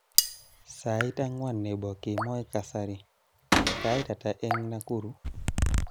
Sait akwan nebo kemoi kasari, sait ata eng Nakuru?